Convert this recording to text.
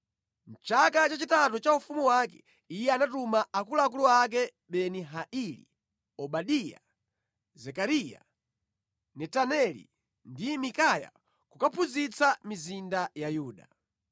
Mʼchaka chachitatu cha ufumu wake, iye anatuma akuluakulu ake Beni-Haili, Obadiya, Zekariya, Netaneli ndi Mikaya kukaphunzitsa mʼmizinda ya Yuda.